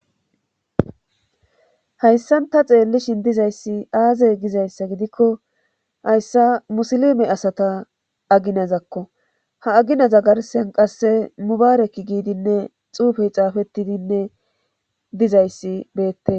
Hayssan ta xeellishin dizayssi aazey gizayssa gidikko hayssa musilime asata aginazakko ha aginaza garsen qasse mubaarekki giidinne xuufey xaafettidinne dizayssi beette.